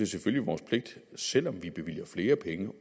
selvfølgelig vores pligt selv om vi bevilger flere penge